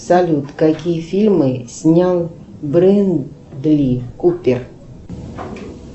салют какие фильмы снял брэдли купер